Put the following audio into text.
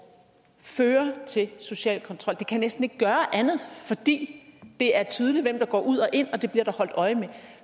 fører til social kontrol det kan næsten ikke gøre andet fordi det er tydeligt hvem der går ud og ind og det bliver der holdt øje med